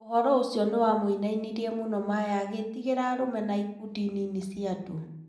ũhoro ũcio nĩwamũinainirie mũno Maya agĩtigĩra arũme na ikundi nini cia andũ.